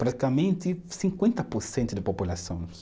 Praticamente cinquenta por cento da população.